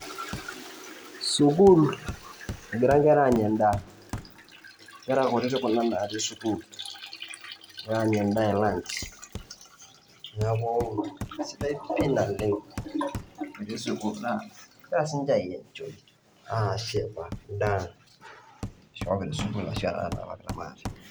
sukuul egira nkera aanya endaa, nkera kutitik kuna natii sukuul egira aanya endaa e lunch, neeku sidai pii naleng' egira siinje aienjoy, aashipa endaa nasihoki te sukuul ashu enatanapakitia maate.